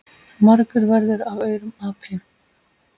Margur verður af aurum api.